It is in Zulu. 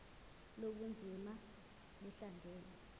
lobu bunzima buhlangane